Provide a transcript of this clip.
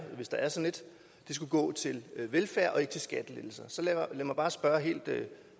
skal gå til velfærd og ikke til skattelettelser så lad mig bare spørge helt